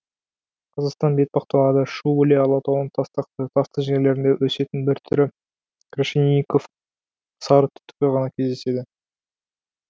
қазақстан бетпақдалада шу іле алатауының тастақты тасты жерлерінде өсетін бір түрі крашенинников сарытүтігі ғана кездеседі